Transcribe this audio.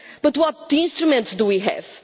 But what instruments do we have?